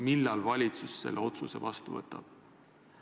Millal valitsus selle otsuse vastu võtab?